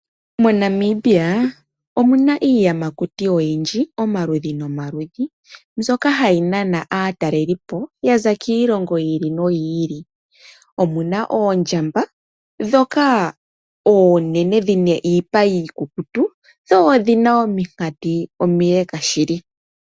MoNamibia omu na iiyamakuti oyindji omaludhi nomaludhi. Mbyoka hayi nana aatalelipo ya za kiilongo yi ili noyi ili. Omu na oondjamba dhoka oonene dhina iipa iikukutu, dho odhina ominkati omileka shili.